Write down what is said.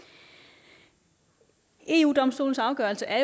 eu domstolens afgørelse er